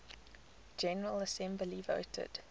general assembly voted